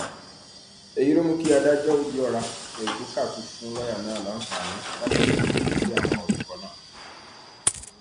èyí ló mú kí adájọ òbíọra égbùkátù fún lọọyà náà láǹfààní láti ṣe àtúnṣe sí àwọn orúkọ náà